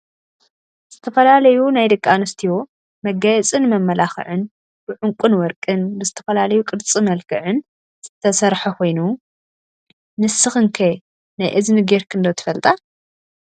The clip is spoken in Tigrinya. ዝተፈላለዩ ናይ ደቂ አንስትዮ መጋየፂን መመላክዕን ብዑንቅን ወርቅን ብዝተፈላለዩ ቅርፅ መልክዕን ዝተሰረሓ ኮይኑ፣ ንስክን ከ ናይ እዝኒ ገርክን ዶ ትፈልጣ?